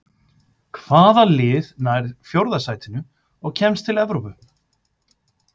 Hvaða lið nær fjórða sætinu og kemst til Evrópu?